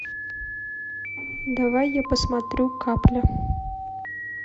давай я посмотрю капля